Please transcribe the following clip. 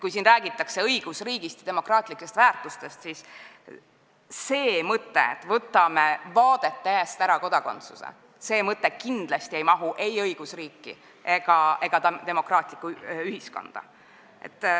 Kui siin räägitakse õigusriigist ja demokraatlikest väärtustest, siis see mõte, et võtame vaadete eest kodakondsuse ära, ei mahu ei õigusriiki ega demokraatlikku ühiskonda.